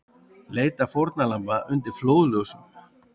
Leita fórnarlamba undir flóðljósum